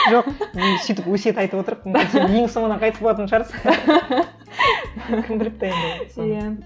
жоқ мен сөйтіп өсиет айтып отырып сен ең соңынан қайтыс болатын шығарсың кім біліпті енді соны иә